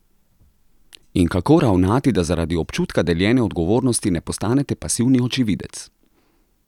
In kako ravnati, da zaradi občutka deljene odgovornosti ne postanete pasivni očividec?